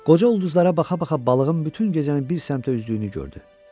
Qoca ulduzlara baxa-baxa balığın bütün gecəni bir səmtə üzdüyünü gördü.